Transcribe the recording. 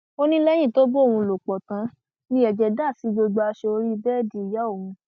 ó ní lẹyìn tó bá òun lò pọ tán ni ẹjẹ dà sí gbogbo aṣọ orí bẹẹdì ìyá òun